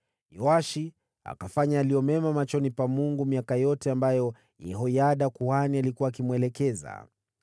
Yoashi akafanya yaliyo mema machoni pa Bwana miaka yote ambayo Yehoyada kuhani alikuwa akimwelekeza.